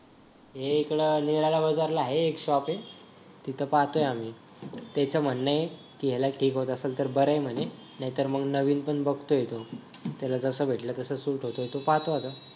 हे इकडं निरावा बाजारला आहे एक शॉप आहे तिथं पाहतोय आम्ही त्याचं म्हणणं आहे की याला ठीक होत असेल तर बरं आहे म्हणे नाहीतर मग नवीन पण बघतोय तो त्याला जसं भेटलं तसं त्याला सूट होत तो पाहतोय आता